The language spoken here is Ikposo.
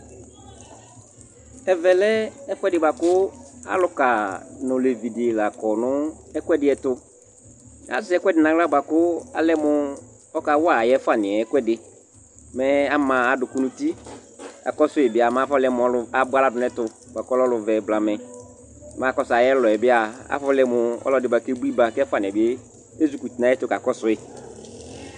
Ɛvɛ lɛ ɛfʋɛdɩ bʋa kʋ alʋka nʋ olevi dɩ la kɔ nʋ ɛkʋɛdɩ tʋ Azɛ ɛkʋɛdɩ nʋ aɣla bʋa kʋ alɛ mʋ ɔkawa ayʋ ɛfʋanɩ yɛ ɛkʋɛdɩ Mɛ ama adʋkʋ nʋ uti Akɔsʋ yɩ bɩ mɛ afɔlɛ mʋ ɔlʋ abʋa aɣla dʋ nʋ ɛtʋ bʋa kʋ ɔlɛ ɔlʋvɛ blamɛ Mɛ akɔsʋ ayʋ ɛlʋ yɛ bɩ a, afɔlɛ mʋ ɔlʋ yɛ bʋa kʋ ebui ba kʋ ɛfʋanɩ yɛ ezikuti nʋ ayɛtʋ kakɔsʋ yɩ